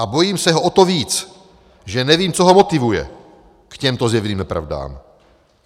A bojím se ho o to víc, že nevím, co ho motivuje k těmto zjevným nepravdám.